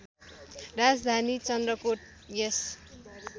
राजधानी चन्द्रकोट यस